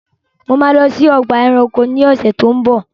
Mo máa lọ sí ọgbà ẹranko ni ọ̀sẹ̀ tó ń bọ̀.